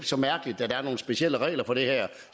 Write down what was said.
så mærkeligt at der er nogle specielle regler for det her